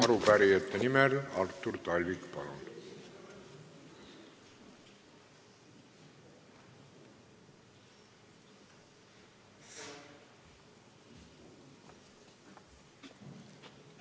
Arupärijate nimel Artur Talvik, palun!